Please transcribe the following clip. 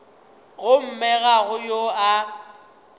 gomme ga go yo a